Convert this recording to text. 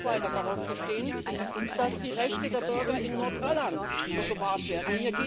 Wir werden auch weiter darauf bestehen, dass die Rechte der Bürger in Nordirland gewahrt werden.